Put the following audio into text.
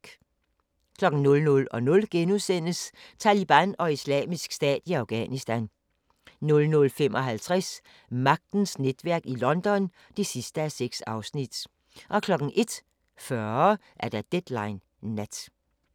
00:00: Taliban og Islamisk Stat i Afghanistan * 00:55: Magtens netværk i London (6:6) 01:40: Deadline Nat